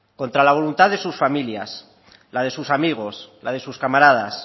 contra la voluntad de sus familias la de sus amigos la de sus camaradas